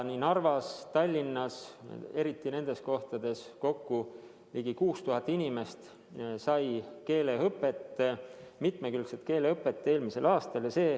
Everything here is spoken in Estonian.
Nii Narvas kui ka Tallinnas, eriti nendes kohtades, sai eelmisel aastal kokku ligi 6000 inimest keeleõpet, mitmekülgset keeleõpet.